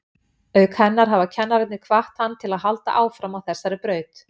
Auk hennar hafa kennararnir hvatt hann til að halda áfram á þessari braut.